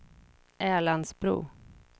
Älandsbro